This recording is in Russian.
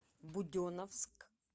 буденновск